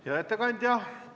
Hea ettekandja!